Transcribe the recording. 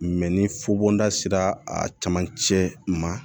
ni fobonda sera a caman cɛ ma